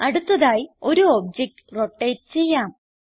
അടുത്തതായി ഒരു object rotate ചെയ്യാം